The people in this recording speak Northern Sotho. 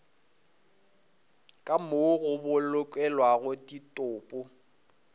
ka moo go bolokelwago ditopo